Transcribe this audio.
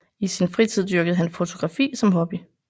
I sin fritid dyrkede han fotografi som hobby